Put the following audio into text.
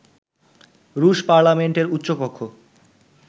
রুশ পার্লামেন্টের উচ্চ কক্ষ